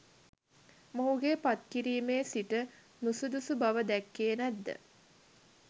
මොහුගේ පත්කිරිමේ සිට නුසුදුසු බව දැක්කේ නැත්ද?